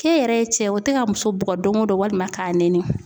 K'e yɛrɛ ye cɛ ye o tɛ ka muso bugɔ don o don walima k'a nɛni